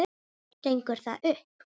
Gengur það upp?